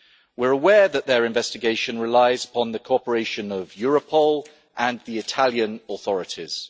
We are aware that their investigation relies upon the cooperation of Europol and the Italian authorities.